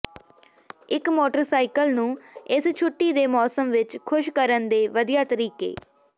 ਇਕ ਮੋਟਰਸਾਈਕਲ ਨੂੰ ਇਸ ਛੁੱਟੀ ਦੇ ਮੌਸਮ ਵਿਚ ਖ਼ੁਸ਼ ਕਰਨ ਦੇ ਵਧੀਆ ਤਰੀਕੇ